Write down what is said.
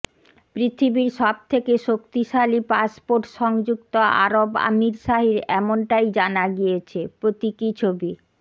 পৃথিবীর সব থেকে শক্তিশালী পাসপোর্ট সংযুক্ত আরব আমিরশাহির এমনটাই জানা গিয়েছে প্রতীকী ছবি